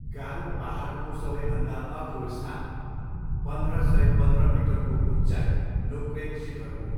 गारो पाहाडको सबैभन्दा अग्लो स्थान पन्ध्र सय पन्ध्र मिटरको उच्चाइ नोक्रेक शिखर हो।